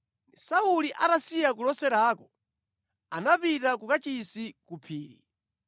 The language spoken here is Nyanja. Sauli atasiya kuloserako, anapita ku kachisi ku phiri.